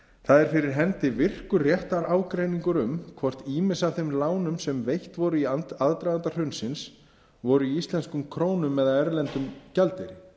það er fyrir hendi virkur réttarágreiningur um hvort ýmis af þeim lánum sem veitt voru í aðdraganda hrunsins áður í íslenskum krónum eða erlendum gjaldeyri